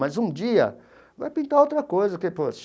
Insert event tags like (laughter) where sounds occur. Mas, um dia, vai pintar outra coisa que. (unintelligible)